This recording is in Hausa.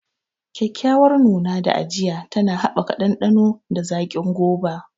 Kyakkyawar nuna da ajiya tana haɓaka ɗanɗano da zaƙin goba.